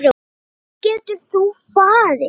Hvert getur þú farið?